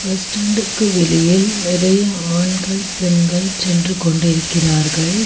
Bus ஸ்டாண்டுக்கு வெளியில் நிறைய ஆண்கள் பெண்கள் சென்று கொண்டு இருக்கிறார்கள்.